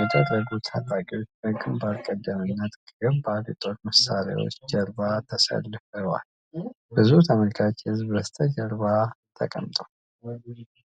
ያደረጉ ታጣቂዎች በግንባር ቀደምትነት ከከባድ የጦር መሣሪያዎች ጀርባ ተሰልፈዋል። ብዙ ተመልካች ህዝብ በስተጀርባ ተቀምጧል።